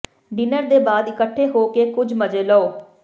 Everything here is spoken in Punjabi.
ਡਿਨਰ ਦੇ ਬਾਅਦ ਇਕੱਠੇ ਹੋ ਕੇ ਕੁਝ ਮਜ਼ੇ ਲਓ